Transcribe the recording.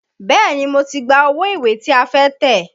Bẹ́ẹ̀ni, mo ti gba owó ìwé tí a fẹ́ tẹ̀.